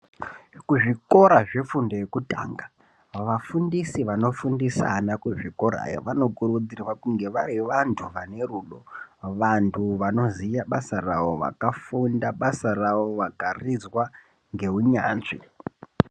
Kuzvikora zve fundo yekutanga vafundisi vano fundisa ana kuzvikora vano kurudzirwa kunge vari vandu vane rudo vandu vano ziye basa ravo vakafunda basa ravo vakarizwa ngeu nyanzvi.